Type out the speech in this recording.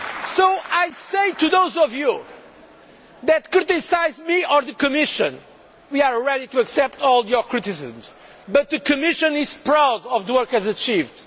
So I say to those of you that criticise me, or the Commission, that we are ready to accept all your criticisms, but the Commission is proud of the work it has achieved.